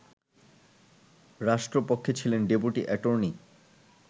রাষ্ট্রপক্ষে ছিলেন deputy attorney